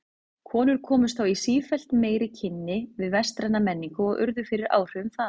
Konur komust þá í sífellt meiri kynni við vestræna menningu og urðu fyrir áhrifum þaðan.